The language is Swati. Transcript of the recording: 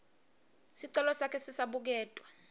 sicelo sakhe sisabuketwa